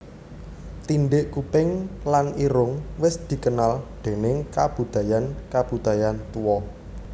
Tindhik kuping lan irung wis dikenal déning kabudayan kabudayan tuwa